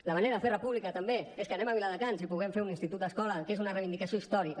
la manera de fer república també és que anem a viladecans i puguem fer un institut escola que és una reivindicació històrica